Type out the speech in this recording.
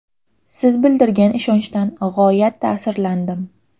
Siz bildirgan ishonchdan g‘oyat ta’sirlandim.